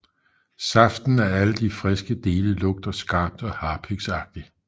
Saften i alle de friske dele lugter skarpt og harpiksagtigt